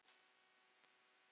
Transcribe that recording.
Setjum fólkið í fyrsta sæti.